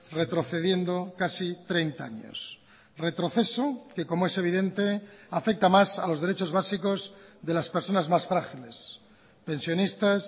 retrocediendo casi treinta años retroceso que como es evidente afecta más a los derechos básicos de las personas más frágiles pensionistas